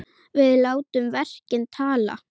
Við látum verkin tala!